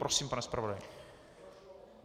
Prosím, pane zpravodaji.